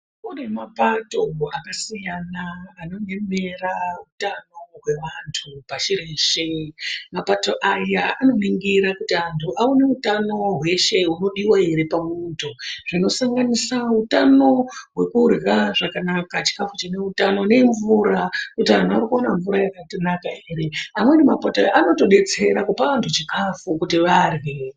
Kune mapato akasiyana anoemera utano hweantu pashi reshe. Mapato aya anoningira kuti antu aone utano hweshe hunodiwa ere pamunhu hunosanganisira utano hwekurya zvakanaka, chikhafu chakanaka nemvura, kuti vanhu vari kuwana mvura ere. Amweni mapato aya anotodetsera kupa antu chikhafu chekuti arye.